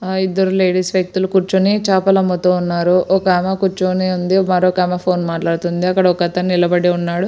ఆ ఇద్దరు లేడీస్ వ్యక్తులు కూర్చొని చేపలు అమ్ముతూ ఉన్నారు. ఒకామె కూర్చొని ఉంది మరొకామె ఫోన్ మాట్లాడుతుంది ఒక అతను నిలబడి ఉన్నాడు.